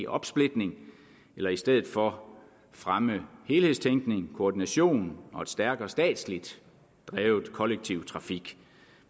opsplitning eller i stedet for fremme helhedstænkning koordination og en stærkere statsligt drevet kollektiv trafik